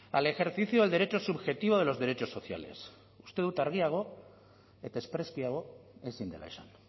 al ejercicio del derecho subjetivo de los derechos sociales uste dut argiago eta espreskiago ezin dela esan